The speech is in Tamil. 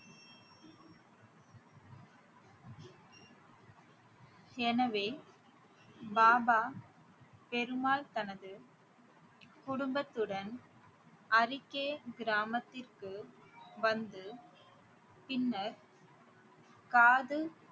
எனவே பாபா ஃபெரு மால் தனது குடும்பத்துடன் அரிக்கே கிராமத்திற்கு வந்து பின்னர் காது